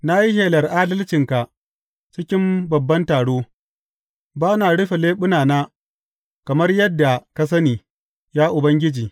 Na yi shelar adalcinka cikin babban taro; ba na rufe leɓunana, kamar yadda ka sani, ya Ubangiji.